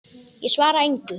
Ég svara engu.